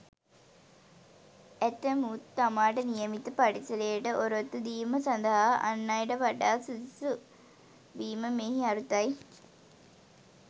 ඇතැමුන් තමාට නියමිත පරිසරයට ඔරොත්තු දීම සඳහා අන් අයට වඩා සුදුසු වීම මෙහි අරුතයි.